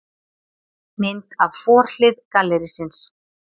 Mynd af forhlið gallerísins.